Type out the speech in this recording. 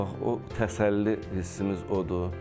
Bax o təsəlli hissimiz odur.